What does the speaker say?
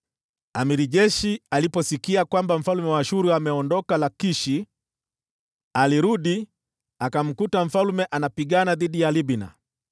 Jemadari wa jeshi aliposikia kwamba mfalme wa Ashuru ameondoka Lakishi, alirudi, akamkuta mfalme akipigana na Libna.